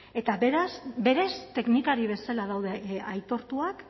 eta berez teknikari bezala daude aitortuak